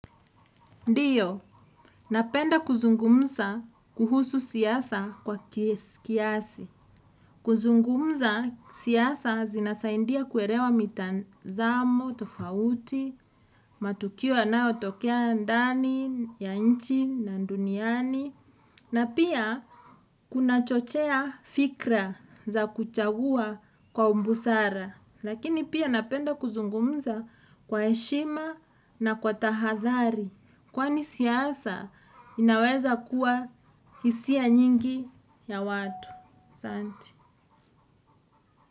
Ndio, napenda kuzungumza kuhusu siasa kwa kiasi. Kuzungumza siasa zinasaidia kuelewa mitazamo tofauti, matukio yanayotokea ndani ya nchi, na duniani. Na pia, kunachochea fikra za kuchagua kwa ubusara. Lakini pia napenda kuzungumza kwa heshima na kwa tahathari. Kwani siasa inaweza kuwa hisia nyingi ya watu. Asanti.